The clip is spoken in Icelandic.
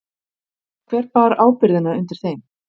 Hver bar ábyrgðina undir þeim?